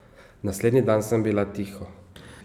Naslednji dan sem bila tiho.